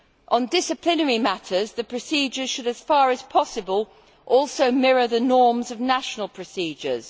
On disciplinary matters, the procedure should, as far as possible, mirror the norms of national procedures.